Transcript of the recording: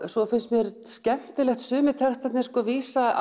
svo finnst mér skemmtilegt að sumir textarnir vísa